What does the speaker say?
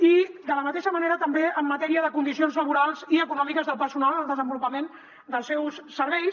i de la mateixa manera també en matèria de condicions laborals i econòmiques del personal en el desenvolupament dels seus serveis